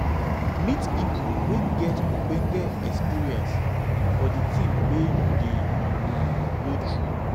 meet person wey get ogbonge experience for di thing wey you dey um go through